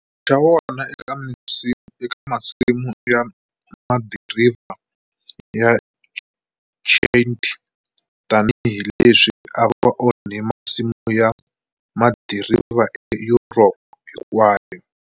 Xa wona eka masimu ya madiriva ya Chianti tani hileswi ava onhe masimu ya madiriva eEurope hinkwayo.